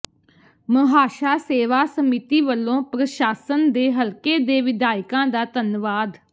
ਮਹਾਸ਼ਾ ਸੇਵਾ ਸਮਿਤੀ ਵਲੋਂ ਪ੍ਰਸ਼ਾਸਨ ਤੇ ਹਲਕੇ ਦੇ ਵਿਧਾਇਕਾਂ ਦਾ ਧੰਨਵਾਦ